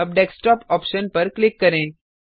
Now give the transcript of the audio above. अब desktop option पर click करें